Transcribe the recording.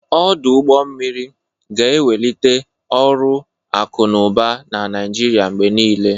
Ọdụ ụgbọ mmiri ga-ewelite ọrụ akụ na ụba na Naịjiria mgbe niile.